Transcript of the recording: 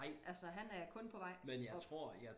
altså han er kun på vej op